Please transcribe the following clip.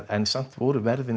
en samt voru verðin